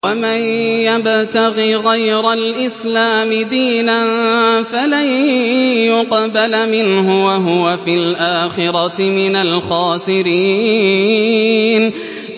وَمَن يَبْتَغِ غَيْرَ الْإِسْلَامِ دِينًا فَلَن يُقْبَلَ مِنْهُ وَهُوَ فِي الْآخِرَةِ مِنَ الْخَاسِرِينَ